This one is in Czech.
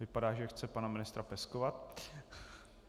Vypadá, že chce pana ministra peskovat.